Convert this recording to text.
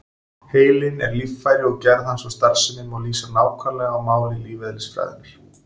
Heilinn er líffæri og gerð hans og starfsemi má lýsa nákvæmlega á máli lífeðlisfræðinnar.